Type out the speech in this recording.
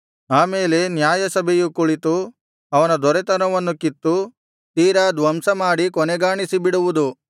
ಆ ಮೇಲೆ ನ್ಯಾಯಸಭೆಯು ಕುಳಿತು ಅವನ ದೊರೆತನವನ್ನು ಕಿತ್ತು ತೀರಾ ಧ್ವಂಸಮಾಡಿ ಕೊನೆಗಾಣಿಸಿ ಬಿಡುವುದು